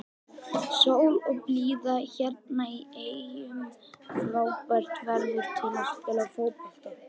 Sól og blíða hérna í eyjum, frábært veður til að spila fótbolta.